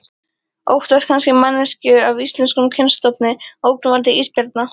Óttast kannski manneskju af íslenskum kynstofni, ógnvaldi ísbjarna.